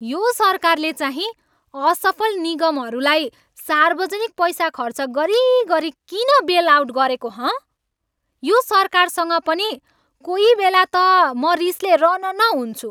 यो सरकारले चाहिँ असफल निगमहरूलाई सार्वजनिक पैसा खर्च गरिगरि किन बेल आउट गरेको, हँ? यो सरकारसँग पनि कोहीबेला त म रिसले रनन हुन्छु।